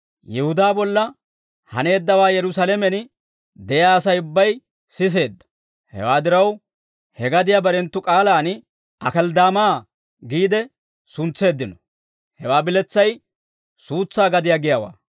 Yihudaa bolla haneeddawaa Yerusaalamen de'iyaa Asay ubbay siseedda; hewaa diraw, he gadiyaa barenttu k'aalaan Akelddaamaa giide suntseeddino; hewaa biletsay suutsaa gadiyaa giyaawaa.